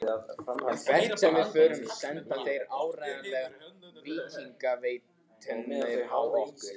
Hvert sem við förum senda þeir áreiðanlega víkingasveitirnar á okkur.